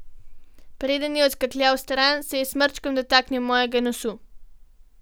Preden je odskakljal stran, se je s smrčkom dotaknil mojega nosu.